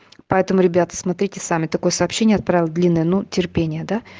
поэтому ребята смотрите сами такое сообщение отправил длинное ну терпение да